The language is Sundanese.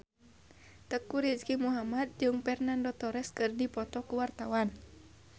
Teuku Rizky Muhammad jeung Fernando Torres keur dipoto ku wartawan